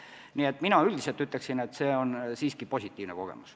Nii et mina ütleksin, et see on siiski positiivne kogemus.